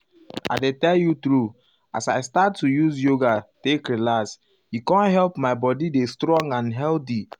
i dey tell you true as i start to use yoga take relax e com help my body dey strong and healthy.